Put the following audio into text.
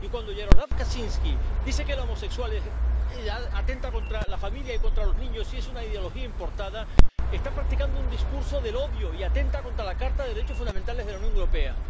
Y, cuando Jarosław Kaczyński dice que la homosexualidad atenta contra la familia y contra los niños y es una ideología importada, está practicando un discurso del odio y atenta contra la Carta de los Derechos Fundamentales de la Unión Europea.